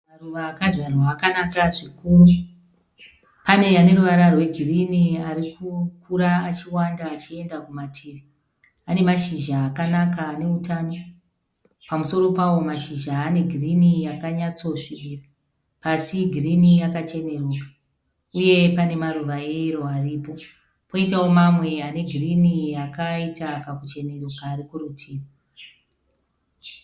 Maruva akadyarwa akanaka zvikuru. Pane ane ruvara rwegirini ari kukura achiwanda achienda kumativi. Ane mashizha akanaka ane utano. Pamusoro pavo mashizha ane girini yakanyatsosvibira. Pasi girini yakacheneruka uye pane maruva eyero aripo. Poitawo mamwe ane girini yakaita kakucheneruka ari kurutivi.